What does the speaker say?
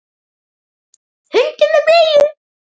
Hundur með bleiu!